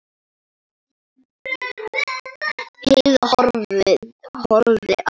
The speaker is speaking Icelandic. Heiða horfði á hana.